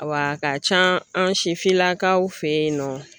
A ka ca an sifinnakaw fɛ yen nɔ